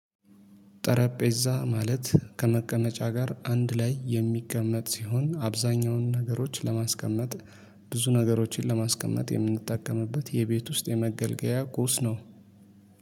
ጠረጴዛ ማለት ከመቀመጫ ጋር አንድ ላይ የሚቀመጥ ሲሆን አብዛኛውን ነገሮች ለማስቀመጥ ብዙ ነገሮችን ለማስቀመጥ የምንጠቀምበት የቤት ውስጥ የመገልገያ ቁስ ነው